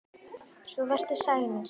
Svo vertu sæl, mín systir!